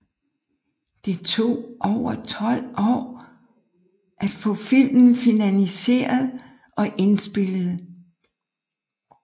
Det tog over 12 år at få filmen finansieret og indspillet